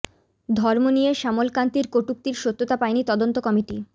ধর্ম নিয়ে শ্যামল কান্তির কটূক্তির সত্যতা পায়নি তদন্ত কমিটি